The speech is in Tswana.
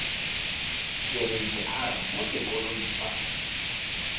kereite r mo sekolong sa